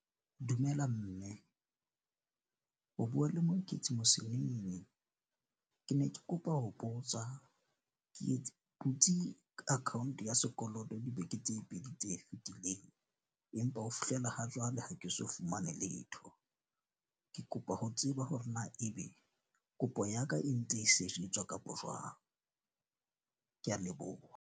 Dumela mme, o bua le Moeketsi . Ke ne ke kopa ho botsa ke etse butsi account ya sekoloto dibeke tse pedi tse fitileng. Empa ho fihlela ha jwale ha ke so fumane letho. Ke kopa ho tseba hore na e be kopong ya ka e ntse e sejetswa kapa jwang. Ke a leboha.